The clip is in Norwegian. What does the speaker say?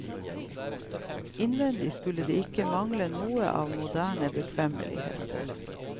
Innvendig skulle det ikke mangle noe av moderne bekvemmeligheter.